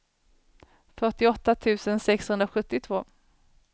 fyrtioåtta tusen sexhundrasjuttiotvå